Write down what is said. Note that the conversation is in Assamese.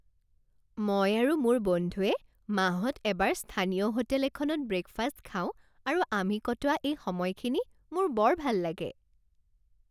মই আৰু মোৰ বন্ধুৱে মাহত এবাৰ স্থানীয় হোটেল এখনত ব্ৰে'কফাষ্ট খাওঁ আৰু আমি কটোৱা এই সময়খিনি মোৰ বৰ ভাল লাগে।